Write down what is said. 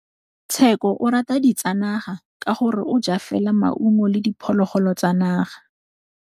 Tshekô o rata ditsanaga ka gore o ja fela maungo le diphologolo tsa naga.